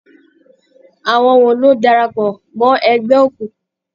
Àwọn wo ló darapọ̀ mọ́ ẹgbẹ́ òkùnkùn?